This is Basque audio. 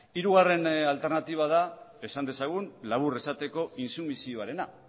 hirugarren alternatiba da esan dezagun labur esateko intsumisioarena